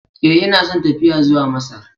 Ee, ina son tafiya zuwa Masar.